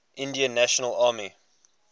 indian national army